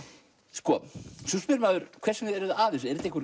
sko svo spyr maður hvers vegna eruð þið að